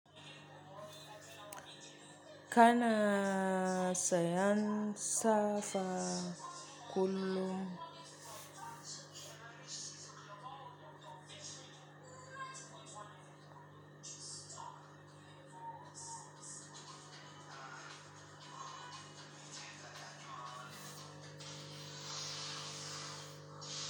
Kana sayansa fa kullum.